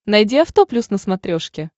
найди авто плюс на смотрешке